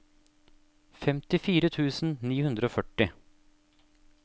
femtifire tusen ni hundre og førti